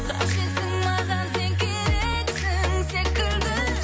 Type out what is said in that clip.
қажетсің маған сен керексің секілді